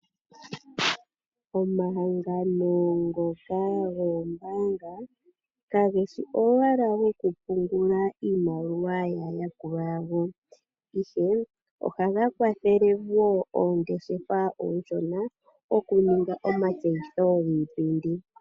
Omahangano ngoka goombaanga kageshi owala gokupungula iimaliwa yaayakulwa yawo ihe ohaga kwathele woo oongeshefa oonshona okuninga omatseyitho giipindi.